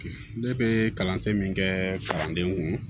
Ne bɛ kalansen min kɛ kalanden kun